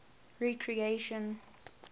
recreation